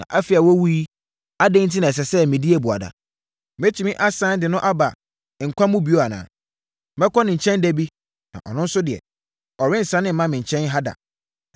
Na afei a wawu yi, adɛn enti na ɛsɛ sɛ medi abuada? Mɛtumi asane de no aba nkwa mu bio anaa? Mɛkɔ ne nkyɛn da bi, na ɔno deɛ, ɔrensane mma me nkyɛn ha da.”